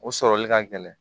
O sɔrɔli ka gɛlɛn